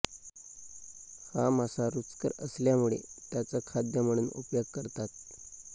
हा मासा रुचकर असल्यामुळे त्याच खाद्य म्हणून उपयोग करतात